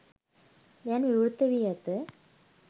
දැන් විවෘත වී ඇත